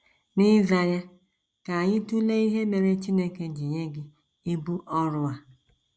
N’ịza ya, ka anyị tụlee ihe mere Chineke ji nye gị ibu ọrụ a.